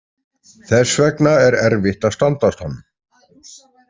Þess vegna er erfitt að standast hann.